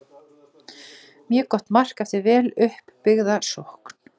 Mjög gott mark eftir vel upp byggða sókn.